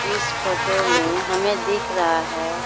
इस फोटो मे हमे दिख रहा है।